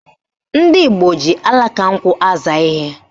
Ndị gboo ji alaka nkwụ aza ihe